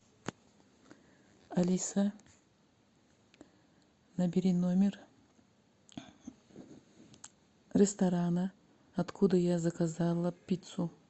алиса набери номер ресторана откуда я заказала пиццу